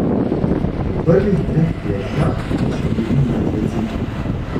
V prvih treh kletkah so bili mrtveci.